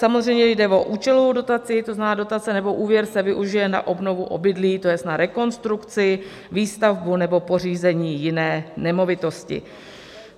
Samozřejmě jde o účelovou dotaci, to znamená dotace nebo úvěr se využije na obnovu obydlí, to jest na rekonstrukci, výstavbu nebo pořízení jiné nemovitosti.